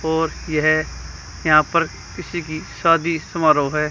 और यह यहां पर किसी की शादी समारोह है।